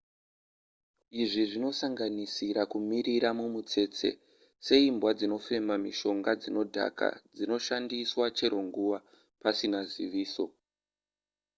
izvi zvinosanganisira kumirira mumutsese seimbwa dzinofema mishonga dzinodhaka dzinoshandiswa chero nguva pasina ziviso